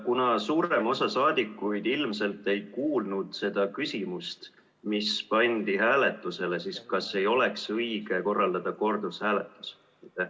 Kuna suurem osa rahvasaadikuid ilmselt ei kuulnud seda küsimust, mis pandi hääletusele, siis kas ei oleks õige korraldada kordushääletus?